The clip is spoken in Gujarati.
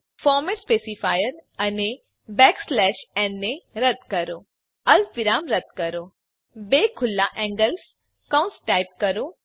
ફોર્મેટ સ્પેસીફાયર અને n ને રદ્દ કરો અલ્પ વિરામ રદ્દ કરો બે ખુલ્લા એન્ગલ કૌંસ ટાઈપ કરો